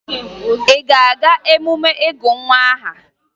Ị na-aga emume ịgụ nwa aha?